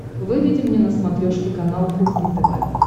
выведи мне на смотрешке канал кухня тв